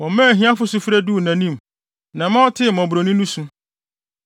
Wɔmaa ahiafo sufrɛ duu nʼanim na ɛma ɔtee mmɔborɔni su.